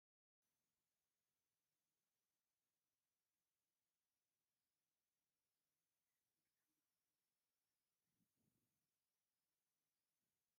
ዝተፈላለዩ ናይ ክሳድ ጌጣ ጌጥ መጋየፂ ተኣኪቦም ኣለዉ ። ሕብሮም እውን ወርቃማ እዩ ። ናይቲ ጌጣ ጊጥ ዋጋ ክንደይ ይከውን ።